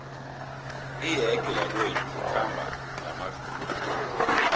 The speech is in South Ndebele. iyege yakwethu ikhamba ngamavilo